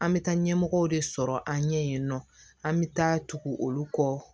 An bɛ taa ɲɛmɔgɔw de sɔrɔ an ɲɛ yen nɔ an bɛ taa tugu olu kɔ